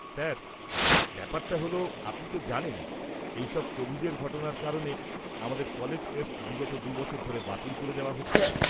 Sir, ব্যাপারটা হল, আপনি তো জানেন এইসব কোভিডের ঘটনার কারণে আমাদের কলেজ ফেস্ট বিগত ২ বছর ধরে বাতিল করে দেওয়া হচ্ছে।